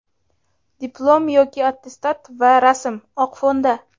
diplom yoki attestat va rasm(oq fonda).